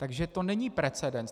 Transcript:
Takže to není precedens.